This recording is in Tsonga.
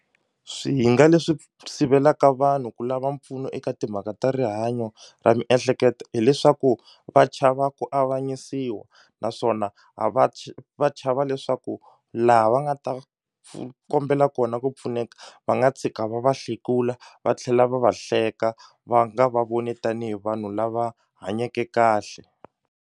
Swihinga leswi sivelaka vanhu ku lava mpfuno eka timhaka ta rihanyo ra miehleketo hileswaku va chava ku avanyisiwa naswona a va va chava leswaku laha va nga ta kombela kona ku pfuneka va nga tshika va va hlekula va tlhela va va hleka va nga va voni tanihi vanhu lava hanyeke kahle.